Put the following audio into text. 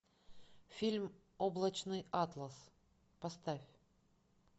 фильм облачный атлас поставь